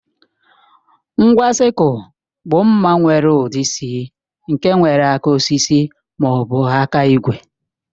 Ngwa sịkul bụ mma nwere ụdị C nke nwere aka osisi ma ọ bụ aka igwe